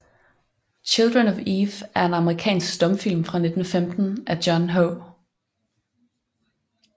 Children of Eve er en amerikansk stumfilm fra 1915 af John H